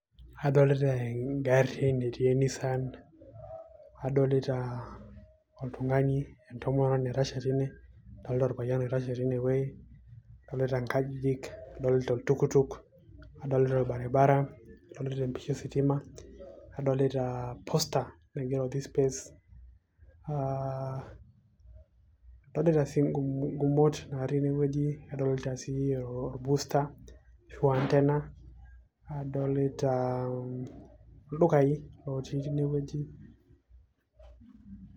adolita eng'arri netii e nissan adolita oltung'ani entomononi naitashe tine adolita orpayian oitashe tinewueji adolita inkajijik adolita oltuktuk adolita orbaribara adolita empisha ositima adolita poster naigero this space uh, adolita sii ingumot natii inewueji adolita sii or booster ashu antena adolita ildukai otii inewueji.